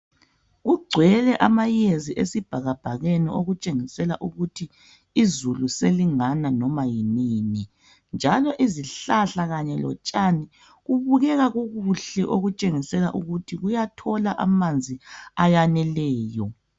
Kugcwele amayezi esibhakabhakeni okutshengisela ukuthi izulu selingana noma yinini njalo izihlahla kanye lotshani kubukeka kukuhle okutshengisela ukuthi kuyathola amanzi ayaneleyo.